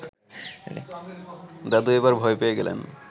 দাদু এবার ভয় পেয়ে গেলেন